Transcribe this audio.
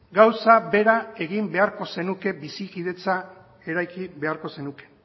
gauza bera egin beharko zenuke bizikidetza eraiki beharko zenuke